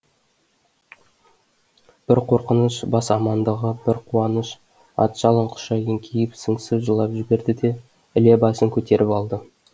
бір қорқыныш бас амандығы бір қуаныш ат жалын құша еңкейіп сыңсып жылап жіберді де іле басын көтеріп алды